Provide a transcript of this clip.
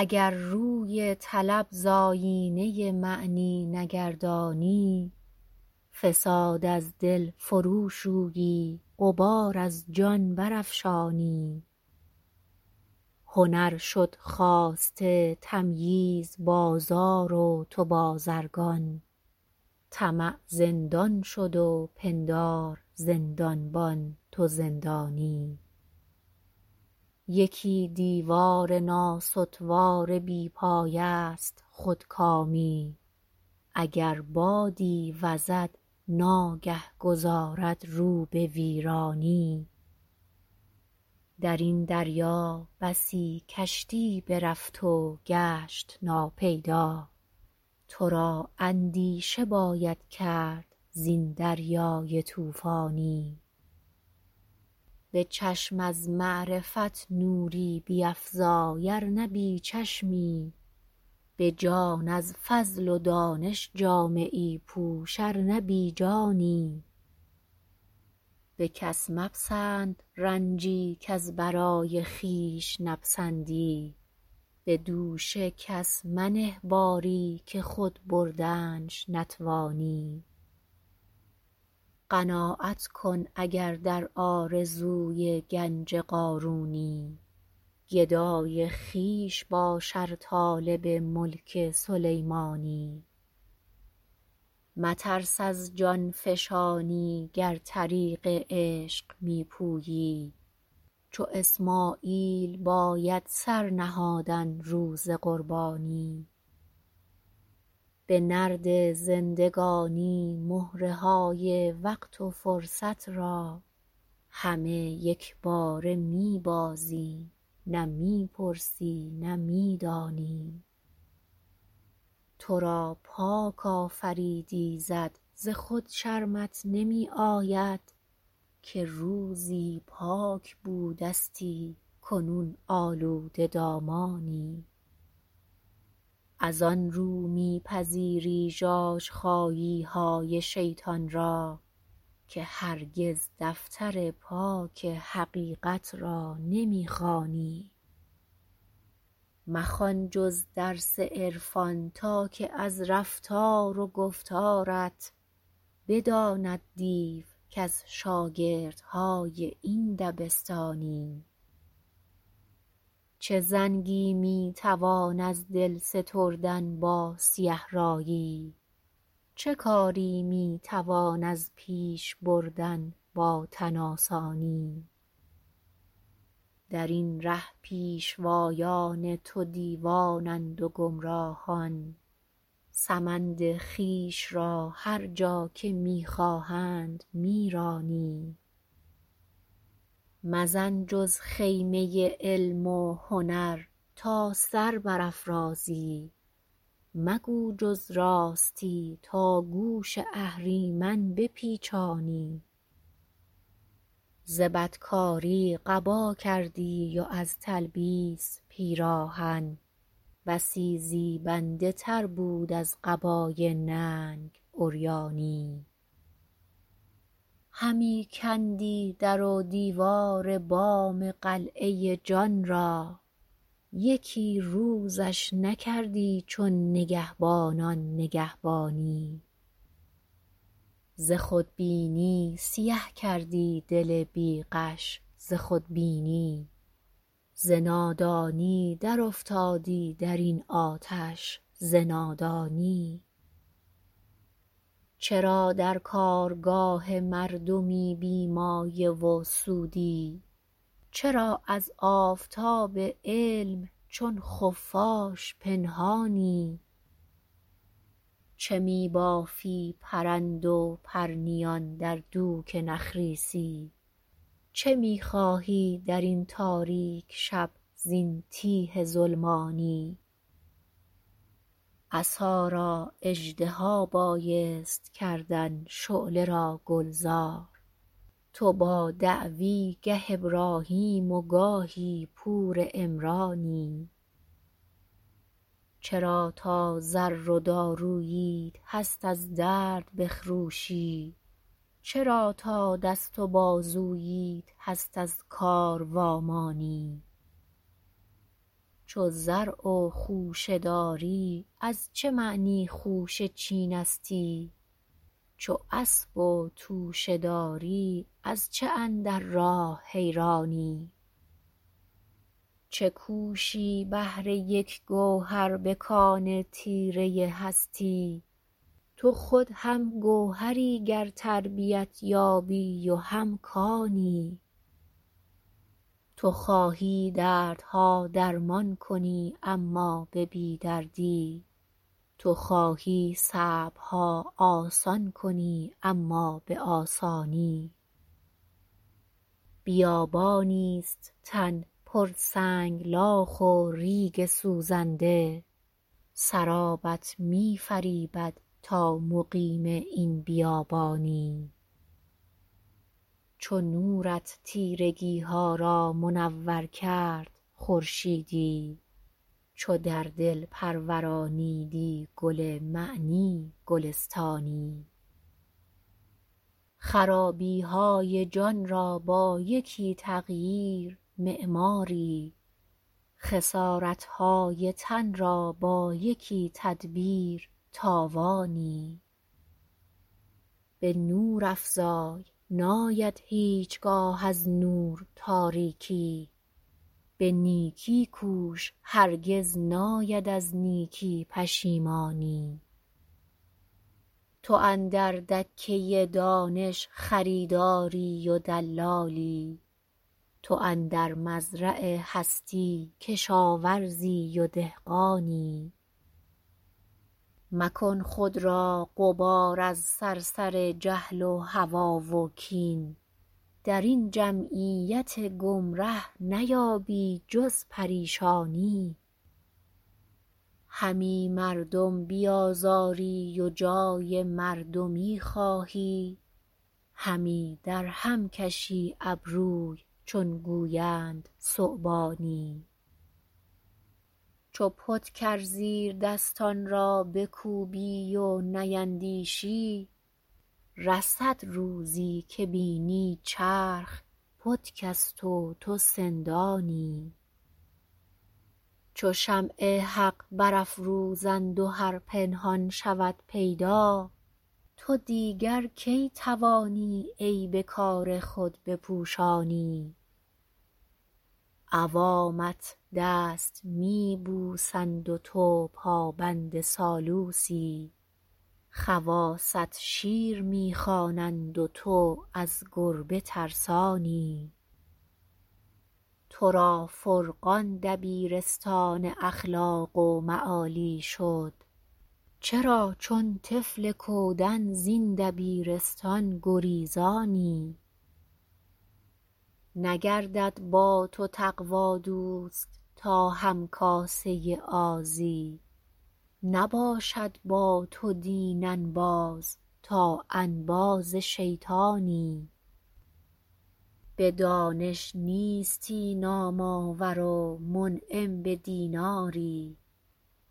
اگر روی طلب زایینه معنی نگردانی فساد از دل فروشویی غبار از جان برافشانی هنر شد خواسته تمییز بازار و تو بازرگان طمع زندان شد و پندار زندانبان تو زندانی یکی دیوار ناستوار بی پایه ست خود کامی اگر بادی وزد ناگه گذارد رو به ویرانی درین دریا بسی کشتی برفت و گشت ناپیدا ترا اندیشه باید کرد زین دریای طوفانی به چشم از معرفت نوری بیفزای ار نه بیچشمی به جان از فضل و دانش جامه ای پوش ار نه بیجانی بکس مپسند رنجی کز برای خویش نپسندی بدوش کس منه باری که خود بردنش نتوانی قناعت کن اگر در آرزوی گنج قارونی گدای خویش باش ار طالب ملک سلیمانی مترس از جانفشانی گر طریق عشق میپویی چو اسمعیل باید سر نهادن روز قربانی به نرد زندگانی مهره های وقت و فرصت را همه یکباره میبازی نه میپرسی نه میدانی ترا پاک آفرید ایزد ز خود شرمت نمی آید که روزی پاک بودستی کنون آلوده دامانی از آنرو میپذیری ژاژخاییهای شیطان را که هرگز دفتر پاک حقیقت را نمیخوانی مخوان جز درس عرفان تا که از رفتار و گفتارت بداند دیو کز شاگردهای این دبستانی چه زنگی میتوان از دل ستردن با سیه رایی چه کاری میتوان از پیش بردن با تن آسانی درین ره پیشوایان تو دیوانند و گمراهان سمند خویش را هر جا که میخواهند میرانی مزن جز خیمه علم و هنر تا سربرافرازی مگو جز راستی تا گوش اهریمن بپیچانی زبد کاری قبا کردی و از تلبیس پیراهن بسی زیبنده تر بود از قبای ننگ عریانی همی کندی در و دیوار بام قلعه جان را یکی روزش نکردی چون نگهبانان نگهبانی ز خود بینی سیه کردی دل بیغش ز خودبینی ز نادانی در افتادی درین آتش ز نادانی چرا در کارگاه مردمی بی مایه و سودی چرا از آفتاب علم چون خفاش پنهانی چه میبافی پرند و پرنیان در دوک نخ ریسی چه میخواهی درین تاریک شب زین تیه ظلمانی عصا را اژدها بایست کردن شعله را گلزار تو با دعوی گه ابراهیم و گاهی پور عمرانی چرا تا زر و داروییت هست از درد بخروشی چرا تا دست و بازوییت هست از کار و امانی چو زرع و خوشه داری از چه معنی خوشه چینستی چو اسب و توشه داری از چه اندر راه حیرانی چه کوشی بهر یک گوهر بکان تیره هستی تو خود هم گوهری گر تربیت یابی و هم کانی تو خواهی دردها درمان کنی اما به بیدردی تو خواهی صعبها آسان کنی اما به آسانی بیابانیست تن پر سنگلاخ و ریگ سوزنده سرابت میفریبد تا مقیم این بیابانی چو نورت تیرگیها را منور کرد خورشیدی چو در دل پرورانیدی گل معنی گلستانی خرابیهای جانرا با یکی تغییر معماری خسارتهای تن را با یکی تدبیر تاوانی بنور افزای ناید هیچگاه از نور تاریکی به نیکی کوش هرگز ناید از نیکی پشیمانی تو اندر دکه دانش خریداری و دلالی تو اندر مزرع هستی کشاورزی و دهقانی مکن خود را غبار از صرصر جهل و هوی و کین درین جمعیت گمره نیابی جز پریشانی همی مردم بیازاری و جای مردمی خواهی همی در هم کشی ابروی چون گویند ثعبانی چو پتک ار زیر دستانرا بکوبی و نیندیشی رسد روزی که بینی چرخ پتکست و تو سندانی چو شمع حق برافروزند و هر پنهان شود پیدا تو دیگر کی توانی عیب کار خود بپوشانی عوامت دست میبوسند و تو پابند سالوسی خواصت شیر میخوانند و تو از گربه ترسانی ترا فرقان دبیرستان اخلاق و معالی شد چرا چون طفل کودن زین دبیرستان گریزانی نگردد با تو تقوی دوست تا همکاسه آزی نباشد با تو دین انباز تا انباز شیطانی بدانش نیستی نام آور و منعم بدیناری